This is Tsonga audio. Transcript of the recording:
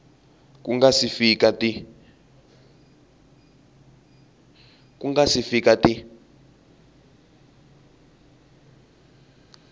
ku nga si fika ti